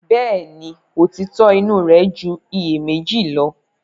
Bẹ́ẹ̀ni, òtítọ́ inú rẹ̀ ju iyèméjì lo.